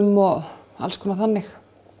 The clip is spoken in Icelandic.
og alls konar þannig